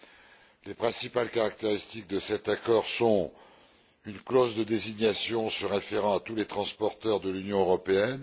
Parmi les principales caractéristiques de cet accord figure une clause de désignation se référant à tous les transporteurs de l'Union européenne.